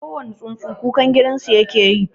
Kowani tsuntsu kukan gidansu yake yi.